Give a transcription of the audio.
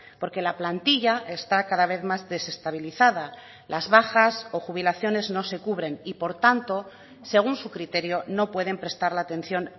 porque la plantilla está cada vez más desestabilizada las bajas o jubilaciones no se cubren y por tanto según su criterio no pueden prestar la atención